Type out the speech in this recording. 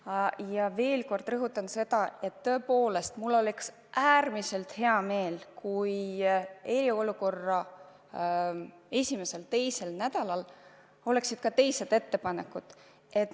Aga ma veel kord rõhutan, et tõepoolest, mul oleks äärmiselt hea meel, kui eriolukorra esimesel-teisel nädalal oleksid kõlanud ka teised ettepanekud.